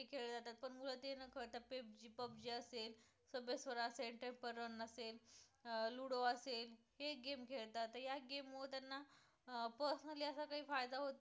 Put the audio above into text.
pub g असेल, subway surf असेल, temple run असेल, अं ludo असेल तर हे game खेळतात तर या game मुळे त्यांना अं personally असं काही फायदा होत नाही फक्त